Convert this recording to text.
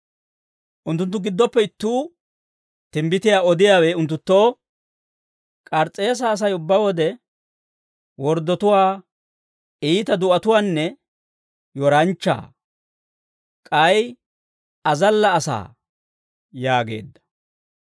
Unttunttu giddoppe ittuu, timbbitiyaa odiyaawe unttunttoo, «K'aris's'eese Asay ubbaa wode, worddatuwaa, iita du'atuwaanne yoranchchaa; k'ay azalla asaa» yaageedda.